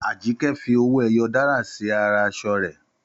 Àjíkẹ́ fi owó ẹyọ dárà sí ara aṣọ rẹ̀